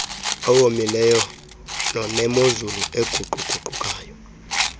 owomileyo nonemozulu eguquguqukayo